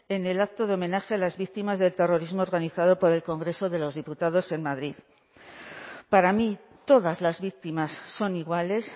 en el acto de homenaje a las víctimas del terrorismo organizado por el congreso de los diputados en madrid para mí todas las víctimas son iguales